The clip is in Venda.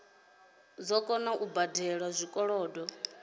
dzo kona u badela zwikolodo